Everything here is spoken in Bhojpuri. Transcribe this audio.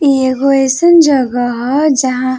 इ एगो अइसन जगह ह जहां --